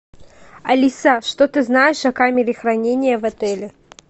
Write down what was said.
алиса что ты знаешь о камере хранения в отеле